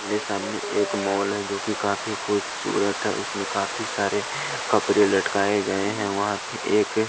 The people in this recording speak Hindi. मेरे सामने एक मॉल है जोकि काफी खूबसूरत है उसमें काफी सारे कपड़े लटकाए गए हैं वहां पे एक--